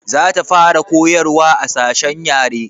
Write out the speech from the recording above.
Za ta fara koyarwa a sashen yare